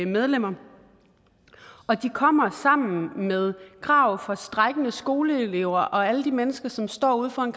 medlemmer og de kommer sammen med krav fra strejkende skoleelever og alle de mennesker som står ude foran